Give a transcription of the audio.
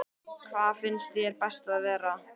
Hvar finnst þér best að vera?